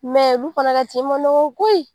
Mɛ olu fɛnɛ ka tin ma man nɔgɔ koyi